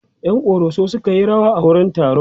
ƴan koroso sukayi rawa a wurin taron